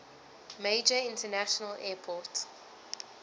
major international airport